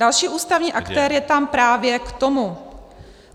Další ústavní aktér je tam právě k tomu.